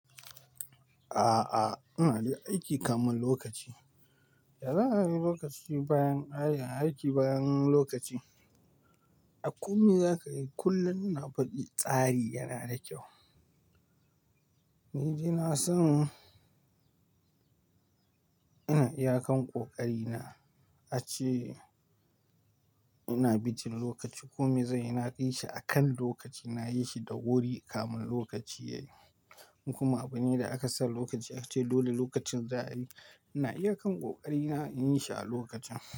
A'a, ina de aiki kamun lokaci. Da zan yi lokaci bayan, aiki bayan lokaci, a kome za ka yi kullum na faɗi tsari yana da kyau. Ni ina son ina iya kan ƙoƙari na ace ina bijin lokaci. Kome zai ina kai shi a kan lokaci, nayi shi da wuri kamun lokaci yayi. In kuma abune da aka sa lokaci aka ce dole lokacin za a yi, ina iya kan ƙoƙari na in yi shi a lokacin.